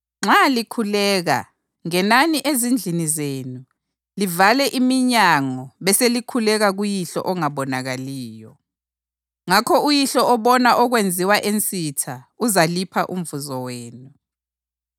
Nxa likhuleka, ngenani ezindlini zenu, livale iminyango beselikhuleka kuYihlo ongabonakaliyo. Ngakho uYihlo obona okwenziwa ensitha uzalipha umvuzo wenu.